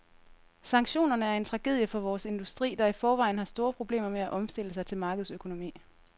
Sanktionerne er en tragedie for vores industri, der i forvejen har store problemer med at omstille sig til markedsøkonomi.